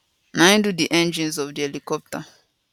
na im do di engines of di helicopter